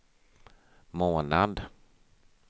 månad